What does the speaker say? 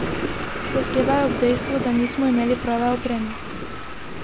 Posebej ob dejstvu, da nismo imeli prave opreme.